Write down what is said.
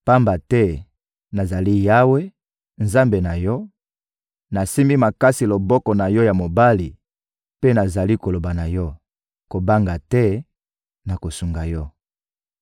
Pamba te, nazali Yawe, Nzambe na yo, nasimbi makasi loboko na yo ya mobali mpe nazali koloba na yo: ‹Kobanga te, nakosunga yo.›